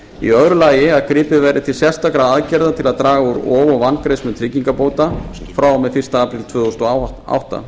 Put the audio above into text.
í öðru lagi að gripið verði til sérstakra aðgerða til að draga úr ofvangreiðslu tryggingabóta frá og með fyrsta apríl tvö þúsund og átta